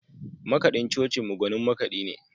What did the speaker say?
Makaɗin cocinmu gwanin makaɗi ne.